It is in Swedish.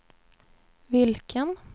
vilken